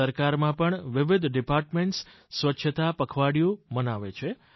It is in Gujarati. સરકારમાં પણ વિવિધ વિભાગો સ્વચ્છતા પખવાડીયું મનાવે છે